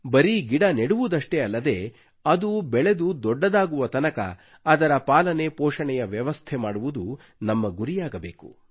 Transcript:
ಬರೀ ಗಿಡ ನೆಡುವುದಷ್ಟೇ ಅಲ್ಲದೆ ಅದು ಬೆಳೆದು ದೊಡ್ಡದಾಗುವ ತನಕ ಅದರ ಪಾಲನೆ ಪೋಷಣೆಯ ವ್ಯವಸ್ಥೆ ಮಾಡುವುದು ನಮ್ಮ ಗುರಿಯಾಗಬೇಕು